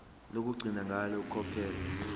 lokugcina ngalo ukukhokhela